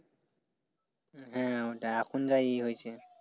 হ্যাঁ ওটাই এখন যাই হইছে।